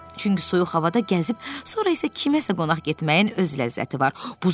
Çünki soyuq havada gəzib, sonra isə kiməsə qonaq getməyin öz ləzzəti var.